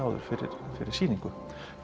fyrir fyrir sýningu